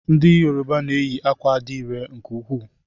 Ndị Yoruba na eyi akwa adire nke ukwuu.